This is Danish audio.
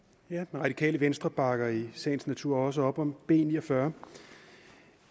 radikale venstre bakker i sagens natur også op om b ni og fyrre